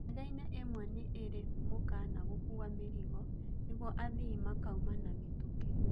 Ndegeinĩ ĩmwe nĩ ĩirĩ mũkana gũkua mĩrigo nĩ guo athii makauma na mitũkĩ